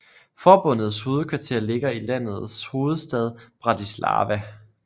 Forbundets hovedkvarter ligger i landets hovedstad Bratislava